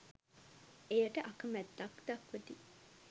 එයට අකැමැත්තක් දක්වති.